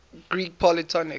greek polytonic